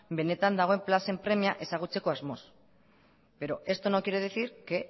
benetan dagoen plazen premia ezagutzeko asmoz pero esto no quiere decir que